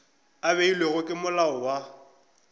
a beilwego ke molao wa